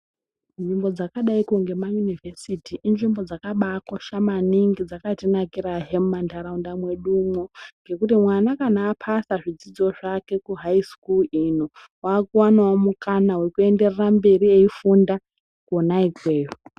Nzvimbo dzakadaiko ngemayunivhesiti ,inzvimbo zvakakosha maningi dzakatinakirahe mumantaraunda mwedumwo ngekuti mwana kana aphasa zvidzidzo zvake kuhayi sikulu ino, wakuwanawo mukana wekuenderera mberi eifunda, kona ikweyo.